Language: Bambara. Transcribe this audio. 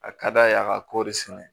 A ka d'a ye a ka kɔɔri sɛnɛ